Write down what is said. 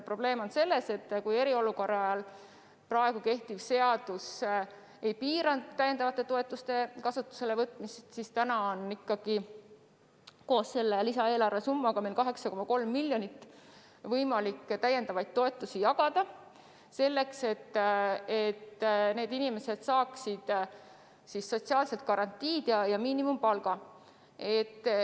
Probleem on selles, et kui eriolukorra ajal praegu kehtiv seadus ei piiranud täiendavate toetuste kasutusele võtmist, siis täna on koos selle lisaeelarve summaga võimalik meil 8,3 miljonit eurot täiendavaid toetusi jagada, et need inimesed saaksid sotsiaalsed garantiid ja miinimumpalga.